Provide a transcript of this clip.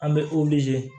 An bɛ